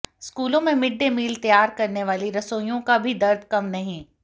स्कूलों में mid day meal तैयार करने वाली रसोइयों का भी दर्द कम नहीं